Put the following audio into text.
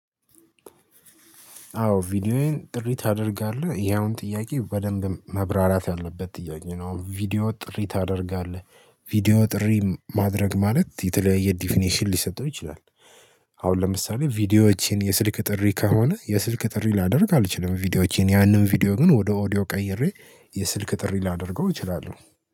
አዎ ቪዲዮዎዬን ጥሪ ታደርጋለህ ያውም ጥያቄ በደንብ መብራራት ያለበት ጥያቄ ነው ቪዲዮ ጥሪ ታደርጋለህ? ቪዲዮ ጥሪ ማድረግ ማለት የተለያየ ዲፊኒሽን ሊሰጠው ይችላል። አሁን ለምሳሌ ቪዲዮዎችን የስልክ ጥሪ ከሆነ የስልክ ጥሪ ላደርግ አልችልም ቪዲዮዎቼን ያንን ቪዲዮ ግን ወደ ኦዲዮ ቀይሬ። የስልክ ጥሪ ላደርገው እችላለሁ